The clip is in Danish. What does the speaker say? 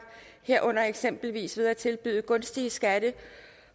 herunder eksempelvis ved at tilbyde gunstige skatte